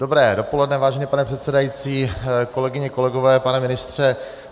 Dobré dopoledne, vážený pane předsedající, kolegyně, kolegové, pane ministře.